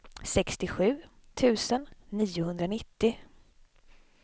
sextiosju tusen niohundranittio